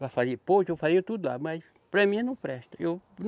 Vai fazer porto, vão fazer tudo lá, mas para mim não presta. Eu